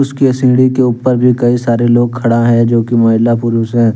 उसके सीढ़ी के ऊपर भी कई सारे लोग खड़ा हैंजो की महिला पुरुष हैं।